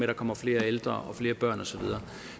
der kommer flere ældre og flere børn og så videre